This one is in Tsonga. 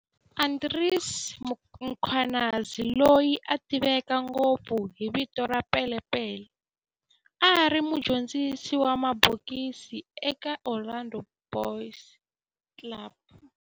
Andries Mkhwanazi, loyi a tiveka ngopfu hi vito ra"Pele Pele", a ri mudyondzisi wa mabokisi eka Orlando Boys Club